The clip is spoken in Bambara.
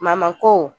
ko